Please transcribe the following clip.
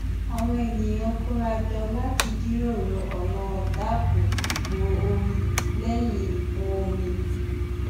àwọn ènìyàn kóra jọ láti jíròrò ọnà dáàbò bo omi lẹyìn ìkún omi